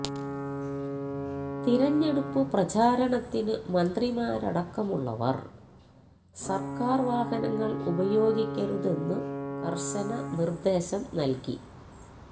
തിരഞ്ഞെടുപ്പു പ്രചാരണത്തിനു മന്ത്രിമാരടക്കമുള്ളവർ സർക്കാർ വാഹനങ്ങൾ ഉപയോഗിക്കരുതെന്നു കർശന നിർദേശം നൽകി